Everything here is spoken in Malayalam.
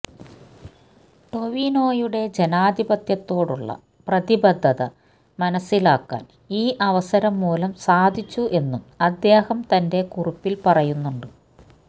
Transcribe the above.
ടോവിനോയുടെ ജനാധിപത്യത്തോടുള്ള പ്രതിബദ്ധത മനസ്സിലാക്കാൻ ഈ അവസരം മൂലം സാധിച്ചു എന്നും അദ്ദേഹം തന്റെ കുറിപ്പില് പറയുന്നുണ്ട്